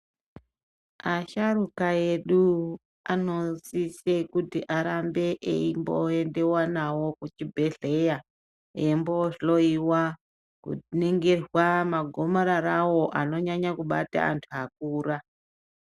Asharuka edu anosise kuti arambe eimboendewa nawo kuchibhehleya eimbohloyiwa kuningirwa magomararawo anonyanya kubata antu akura.